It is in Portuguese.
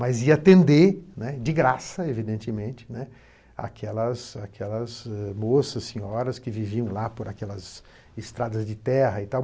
Mas ia atender, né, de graça, evidentemente, né, aquelas aquelas moças, senhoras que viviam lá por aquelas estradas de terra e tal.